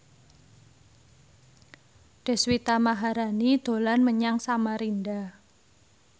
Deswita Maharani dolan menyang Samarinda